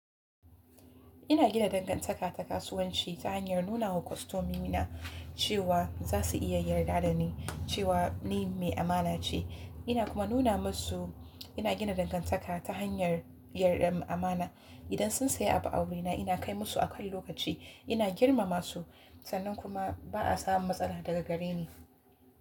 Ina gina dangantaka ta kasuwanci ta hanyar nuna wa kostomomina cewa za su iya yarda da ni cewa ni mai amana ce. Ina kuma nuna musu ina gina dangantaka ta hanyar amana. Idan sun saya abu a wurina, ina kai musu akan lokaci. Ina girmama su sannan kuma ba a samun matsala daga gare ni.